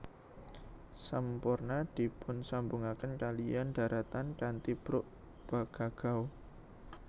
Semporna dipunsambungaken kaliyan dharatan kanthi brug Pegagau